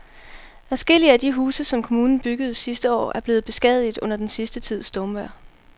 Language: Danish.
Adskillige af de huse, som kommunen byggede sidste år, er blevet beskadiget under den sidste tids stormvejr.